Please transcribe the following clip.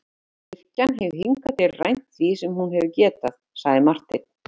Kirkjan hefur hingað til rænt því sem hún hefur getað, sagði Marteinn.